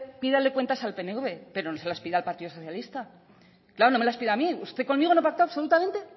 pídale cuentas al pnv pero no se las pida al partido socialista claro no me las pida a mí usted conmigo no pacto absolutamente